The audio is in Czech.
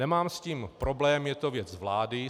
Nemám s tím problém, je to věc vlády.